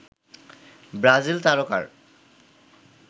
Brazil তারকার